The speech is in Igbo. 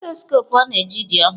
Stethọskopụ ọ na-eji dị ọhụrụ.